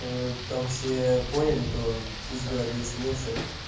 там все поняли то пусть бы объяснился